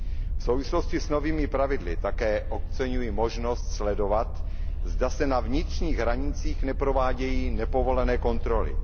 V souvislosti s novými pravidly také oceňuji možnost sledovat, zda se na vnitřních hranicích neprovádějí nepovolené kontroly.